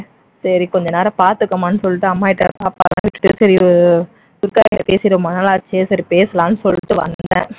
சரி கொஞ்ச நேரம் பாத்துக்கம்மான்னு சொல்லிட்டு அம்மா கிட்ட பாப்பாவெல்லாம் விட்டுட்டு சரி துர்கா கிட்ட பேசி ரொம்ப நாளாச்சு சரி பேசலாம்னு சொல்லிட்டு வந்தேன்